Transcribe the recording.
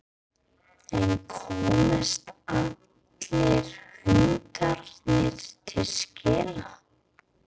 En komast allir hundarnir til skila?